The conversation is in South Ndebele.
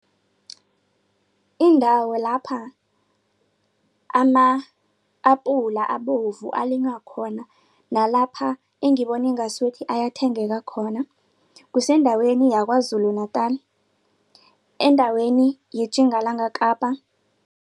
Indawo lapha ama-apula abovu alinywakhona nalapha engibona ngasuthi ayathengeka khona kusendaweni zayakwaZulu endaweni yeTjilanga Kapa.